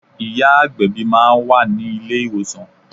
Ìyá agbẹ̀bí máa wà ní ilé ìwòsàn.